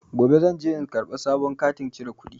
Gobe zan je in karɓi sabon katin cire kuɗi.